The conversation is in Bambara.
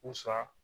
U sa